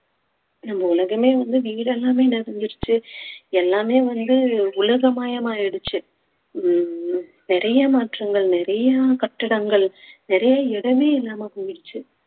நம்ம உலகமே வந்து வீடெல்லாமே நிறைஞ்சிருச்சு எல்லாமே வந்து உலகமயமாயிடுச்சு ஓ~ நிறைய மாற்றங்கள் நிறைய கட்டிடங்கள் நிறைய இடமே இல்லாம போயிருச்சு